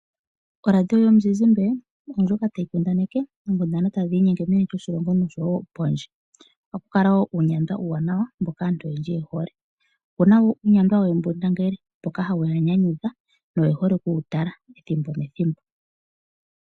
Oradia yomuzizimba ndjoka tayi kundaneke oonkundana tadhi inyenge meni loshilongo noshowo pondje, ohaku kala wo uunyandwa uuwanawa mboka aantu oyendji ye hole. Opu na wo uunyandwa woohembundangele mboka hawu ya nyanyudha, no ye hole oku wu tala ethimbo nethimbo.